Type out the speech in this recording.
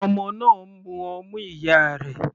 Ọmọ náà ń mú ọmú ìyá rẹ̀.